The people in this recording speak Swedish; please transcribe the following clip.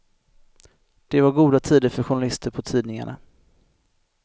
Det var goda tider för journalister på tidningarna.